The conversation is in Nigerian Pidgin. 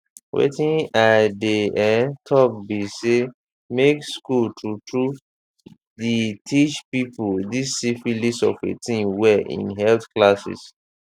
wetin i dey um talk be say make school true true the teache people this syphilis of a thing well in health classes